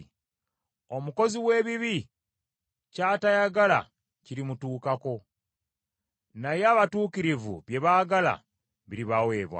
Omukozi w’ebibi ky’atayagala kirimutuukako, naye abatuukirivu bye baagala biribaweebwa.